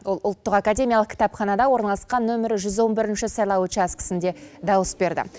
ол ұлттық академиялық кітапханада орналасқан нөмірі жүз он бірінші сайлау учаскісінде дауыс берді